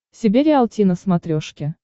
себе риалти на смотрешке